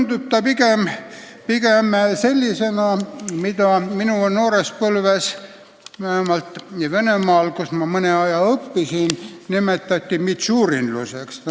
Koostatakse niisuguseid plaane, mida minu noores põlves – vähemalt Venemaal, kus ma mõne aja õppisin – nimetati mitšurinluseks.